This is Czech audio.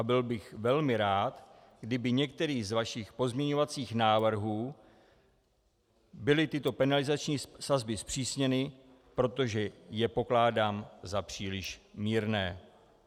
A byl bych velmi rád, kdyby některým z vašich pozměňovacích návrhů byly tyto penalizační sazby zpřísněny, protože je pokládám za příliš mírné."